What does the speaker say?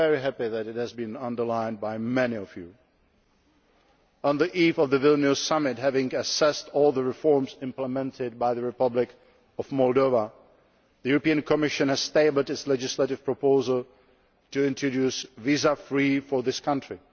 I am very happy that it has been underlined by many of you. On the eve of the Vilnius Summit, having assessed all the reforms implemented by the Republic of Moldova, the European Commission has tabled its legislative proposal to introduce visa free travel for this country.